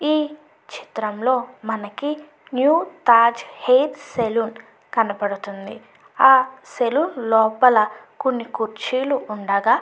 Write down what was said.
ఈ చిత్రంలో మనకి న్యూ తాజ్ హెయిర్ సెలూన్ కనిపిస్తుంది ఆ సెలూన్ లోపల కొన్ని కుర్చీలు ఉండగా --